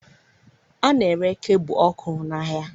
A na-ere kebụ ọkụ n'ahịa